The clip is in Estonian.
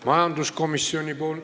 Majanduskomisjoni ...